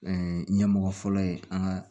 ɲɛmɔgɔ fɔlɔ ye an ka